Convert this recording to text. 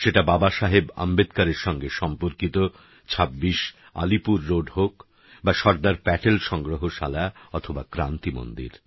সেটা বাবা সাহেব আম্বেদকরের সঙ্গে সম্পর্কিত ২৬ আলিপুর রোড হোক বা সর্দার প্যাটেল সংগ্রহশালা অথবা ক্রান্তি মন্দির